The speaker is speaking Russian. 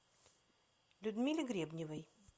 людмиле гребневой